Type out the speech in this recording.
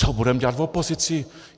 Co budeme dělat v opozici?